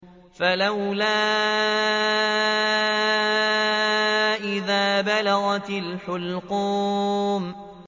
فَلَوْلَا إِذَا بَلَغَتِ الْحُلْقُومَ